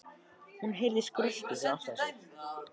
Hún heyrði skröltið fyrir aftan sig.